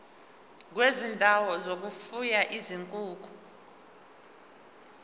kwezindawo zokufuya izinkukhu